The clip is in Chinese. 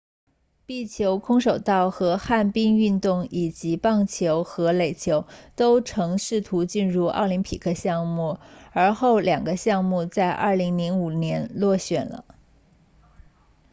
壁球空手道和旱冰运动以及棒球和垒球都曾试图进入奥林匹克项目而后两个项目在2005年落选了